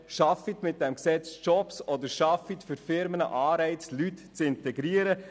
Schaffen Sie mit diesem Gesetz Jobs, oder schaffen Sie für Firmen Anreize, Leute zu integrieren.